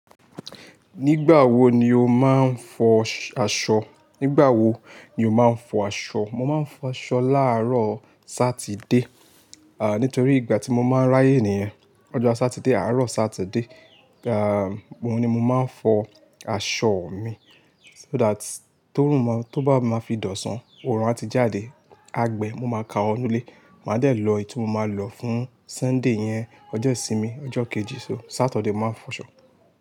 Nígbà wo ni o máa ń fọ aṣọ? Nígbà wo ni o máa ń fọ aṣọ? Mo máa ń fọ aṣọ láàrọ̀ Satide, ah nítorí ìgbà tí mo máa ń ráyè nìyen. Ọjọ́ Satide, àárọ̀ Satide, ah òun ni mo máa ń fọ aṣọ mi. So that tórùn, tó bá máa fi dòṣàn, oòrùn a ti jáde. A gbe, mo máa ka wọ nulé. Máa dẹ̀ lọ èyí tí mo máa lọ fún Sunday yen. Ọjọ́ ìsinmi, ọjọ́ kejì, Saturday mo máa ń fọ aṣọ.